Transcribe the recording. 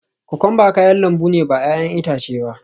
Kokwamba kayan lambu ne ba 'ya'yan itace ba